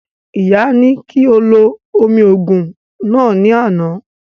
Ìyá ní kí ó lo omi òògùn náà ní àná